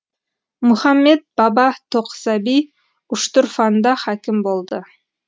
мұхаммед баба тоқсаби үштұрфанда хәкім болды